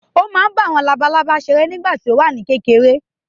Ó máa ń bá àwọn labalábá seré nígbà tí ó wà ní kékeré